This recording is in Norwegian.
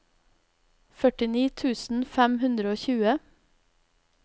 førtini tusen fem hundre og tjue